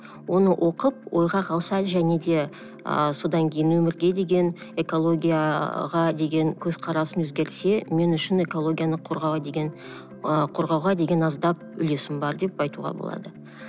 оны оқып ойға қалса және де ыыы содан кейін өмірге деген экологияға деген көз қарасын өзгертсе мен үшін экологияны ы қорғауға деген аздап үлесім бар деп айтуға болады